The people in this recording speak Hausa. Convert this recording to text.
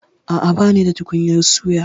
A'a, banida tukunyar suya.